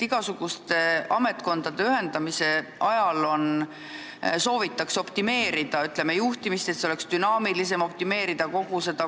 Igasuguste ametkondade ühendamisel soovitakse optimeerida, ütleme, juhtimist, et see oleks dünaamilisem, ja optimeerida koosseisu.